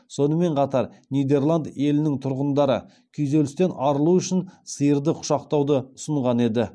сонымен қатар нидерланд елінің тұрғындары күйзелістен арылу үшін сиырды құшақтауды ұсынған еді